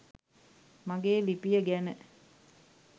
මගේ ලිපිය ගැන.